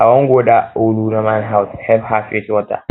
i wan go dat old woman house help her fetch water